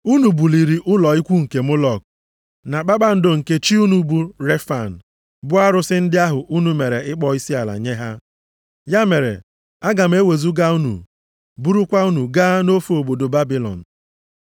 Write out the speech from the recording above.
Unu buliri ụlọ ikwu nke Mọlọk na kpakpando nke chi unu bụ Refan, bụ arụsị ndị ahụ unu mere ịkpọ isiala nye ha. Ya mere, aga m ewezuga unu, burukwa unu gaa nʼofe obodo Babilọn.’ + 7:43 \+xt Ems 5:25-27\+xt*